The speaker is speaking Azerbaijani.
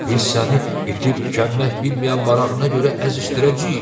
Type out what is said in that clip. Biz səni bitib-tükənmək bilməyən marağına görə əzişdirəcəyik.